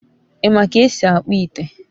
i ma ka esi akpu ite?